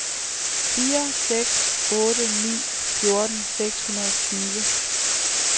fire seks otte ni fjorten seks hundrede og tyve